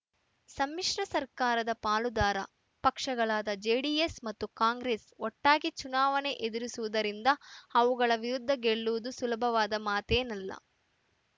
ಸಮ್ಮಿಶ್ರ ಸರ್ಕಾರದ ಪಾಲುದಾರ ಪಕ್ಷಗಳಾದ ಜೆಡಿಎಸ್‌ ಮತ್ತು ಕಾಂಗ್ರೆಸ್‌ ಒಟ್ಟಾಗಿ ಚುನಾವಣೆ ಎದುರಿಸುವುದರಿಂದ ಅವುಗಳ ವಿರುದ್ಧ ಗೆಲ್ಲುವುದು ಸುಲಭದ ಮಾತೇನಲ್ಲ